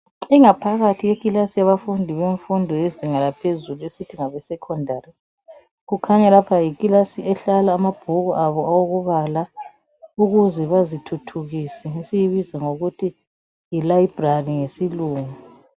Ingaphakathi yekilasi yabafundi bemfundo yezinga laphezulu esithi ngabe sekhondari kukhanya lapha yikilasi ehlala amabhuku abo okubala ukuze bazithuthukise esiyibiza ngokuthi yilayibhrari ngesilungu.